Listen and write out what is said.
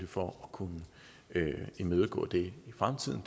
for at kunne imødegå det i fremtiden